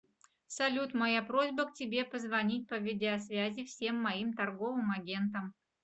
салют моя просьба к тебе позвонить по видеозвязи всем моим торговым агентам